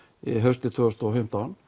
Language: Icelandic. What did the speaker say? haustið tvö þúsund og fimmtán